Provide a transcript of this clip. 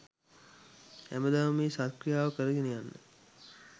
හැමදාම මේ සත් ක්‍රියාව කරගෙන යන්න